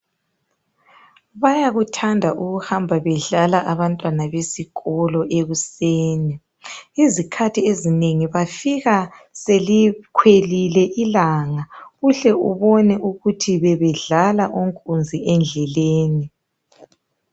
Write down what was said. Bayakuthanda ukuhamba bedlala abantwana besikolo ekusenii. Izikhathi ezinengi, bafika isikhathi bafika selikhwelile ilanga. Uhle ubone ukuthi bebedlala, onkunzi endleleni.